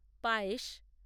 পায়েশ